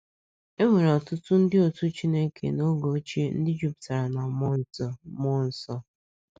E nwere ọtụtụ ndị otú u Chineke n’oge ochie ndị jupụtara na mmụọ nsọ mmụọ nsọ.